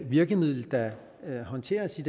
virkemiddel der håndteres i